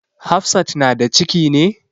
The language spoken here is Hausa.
Hafsat na da ciki ne?